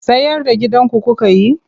Sayar da gidanku kuka yi?